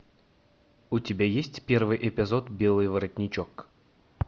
у тебя есть первый эпизод белый воротничок